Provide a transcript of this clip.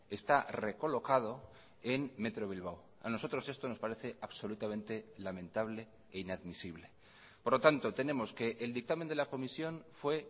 está recolocado en metro bilbao a nosotros esto nos parece absolutamente lamentable e inadmisible por lo tanto tenemos que el dictamen de la comisión fue